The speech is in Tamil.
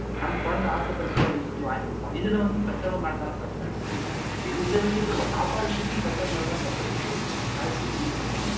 நம்ம குழந்தை ஆசை பட்டுச்சு அப்படின்னு சொல்லி வாங்கி கொடுப்போம் இதுல வந்து பெத்தவங்க மேல தானே தப்பு இருக்குது இந்த விஷயத்துல ஒரு சாப்பாடு விஷயத்துலயும் பெத்தவங்க மேல தான் தப்பு இருக்குது யாழிசை நீங்க சொல்லுங்களேன்